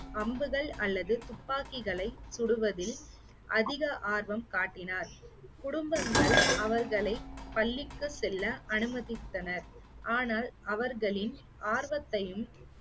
அம்புகள் அல்லது துப்பாக்கிகளை சுடுவதில் அதிக ஆர்வம் காட்டினார். குடும்பங்கள் அவர்களை பள்ளிக்கு செல்ல அனுமதித்தனர் ஆனால் அவர்களின் ஆர்வத்தையும்